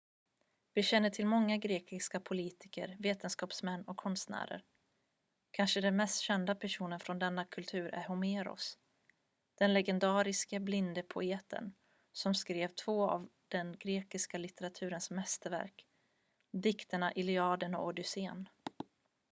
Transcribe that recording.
vi känner till många grekiska politiker vetenskapsmän och konstnärer kanske den mest kända personen från denna kultur är homeros den legendariske blinde poeten som skrev två av den grekiska litteraturens mästerverk dikterna iliaden och odysséen